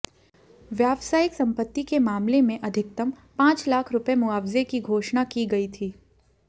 व्यावसायिक संपत्ति के मामले में अधिकतम पांच लाख रुपए मुआवजे की घोषणा की गई थी